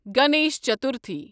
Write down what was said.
Ganesh Chaturthi